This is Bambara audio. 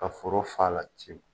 Ka foro f'a la tewu.